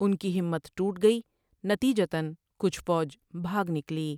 ان کی ہمت ٹوٹ گئی نتیجتاً کچھ فوج بھاگ نکلی ۔